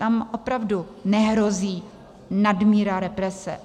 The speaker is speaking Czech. Tam opravdu nehrozí nadmíra represe.